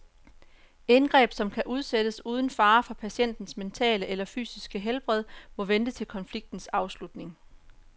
Indgreb, som kan udsættes uden fare for patientens mentale eller fysiske helbred, må vente til konfliktens afslutning.